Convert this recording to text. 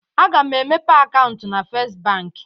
Aga m emepe akaụntụ na Fest bank.